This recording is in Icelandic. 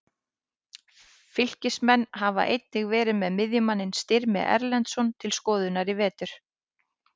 Fylkismenn hafa einnig verið með miðjumanninn Styrmi Erlendsson til skoðunar í vetur.